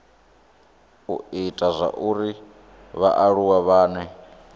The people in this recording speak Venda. u ita zwauri vhaaluwa vhane